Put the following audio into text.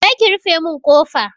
Je ki ki rufe mun kofa!